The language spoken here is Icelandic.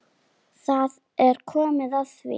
Það er komið að því.